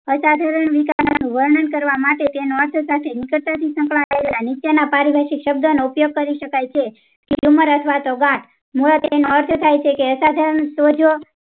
અસાધારણ વીક વર્ણન કરવા માટે નિકટતા થી સંકળાયેલા નીચેના પારિભાષિક શબ્દ નો ઉપયોગ કરી શકાય છે tumor અથવા તો ગાંઠ